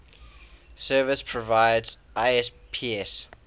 service providers isps